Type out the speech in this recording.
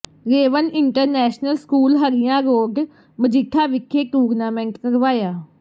ਰੇਵੰਨ international school Harian road Majitha ਵਿਖੇ tournament ਕਰਵਾਇਆ